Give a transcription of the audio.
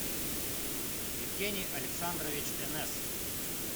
евгений александрович энес